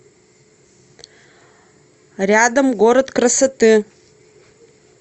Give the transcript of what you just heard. рядом город красоты